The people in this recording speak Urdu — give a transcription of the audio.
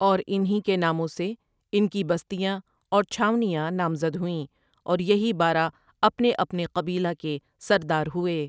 اور اِن ہی کے ناموں سے اِنکی بستیاں اور چھاؤنیاں نامزد ہُوئیں اور یہی بارہ اپنے اپنے قبیلہ کے سردار ہُوئے ۔